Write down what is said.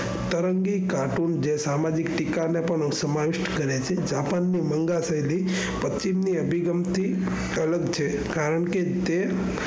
તરંગી કાર્ટૂન જે સામાજિક ટીકા ને પણ અસમાન કરે છે આપણને મન્ગા કરી દઈ પચ્છીમ ની અભિગમ થી અલગ છે કારણકે તે,